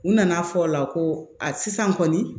U nana fɔ o la ko a sisan kɔni